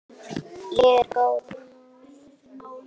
Ég er góð núna.